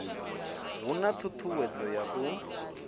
hu na ṱhuṱhuwedzo ya u